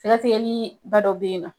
Sɛgɛsɛgɛliba dɔ be yen nɔ